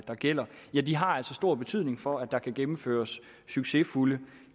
der gælder stor betydning for at der kan gennemføres succesfulde